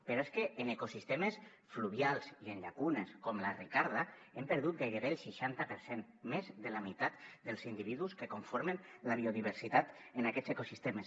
però és que en ecosistemes fluvials i en llacunes com la ricarda hem perdut gairebé el seixanta per cent més de la meitat dels individus que conformen la biodiversitat en aquests ecosistemes